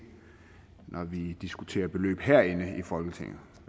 når vi diskuterer beløb herinde i folketinget